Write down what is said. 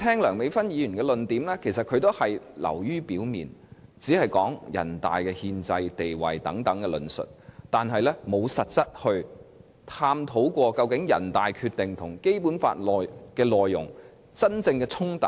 梁美芬議員提出的論點也是流於表面的，她只提出人大憲制地位等論述，卻沒有實際探討究竟人大《決定》和《基本法》內容的真正衝突為何。